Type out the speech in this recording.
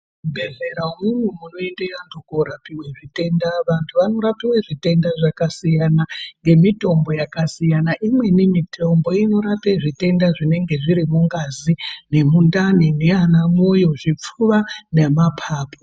Muzvibhehleya umwumwu munoende anhu korapiwe zvitenda vantu vanorapiwe zvitenda zvakasiyana ngemitombo yakasiyana imweni mitombo inorape zvitenda zvinenge zviri mungazi ,nemundani nanamoyo , zvipfuva nemapapu.